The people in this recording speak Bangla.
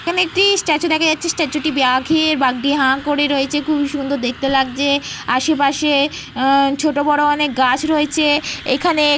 এখানে একটি স্ট্যাচু দেখা যাচ্ছে। স্ট্যাচু -টি বাঘের। বাঘটি হা করে রয়েছে। খুবই সুন্দর দেখতে লাগছে। আশেপাশে উহঃ ছোটোবড়ো অনেক গাছ রয়েছে। এখানে --